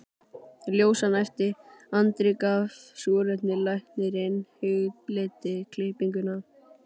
Ljósan æpti, Andri gaf súrefni, læknirinn hugleiddi klippingu.